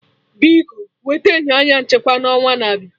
Biko wete enyo anya nchekwa na onwa na abịa